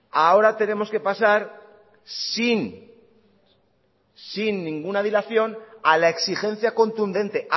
ahora tenemos que pasar sin sin ninguna dilación a la exigencia contundente